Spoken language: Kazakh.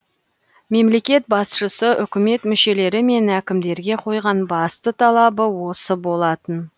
мемлекет басшысы үкімет мүшелері мен әкімдерге қойған басты талабы осы болатын